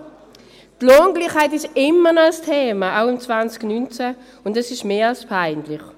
Die Lohngleichheit ist immer noch ein Thema, auch 2019, und das ist mehr als peinlich.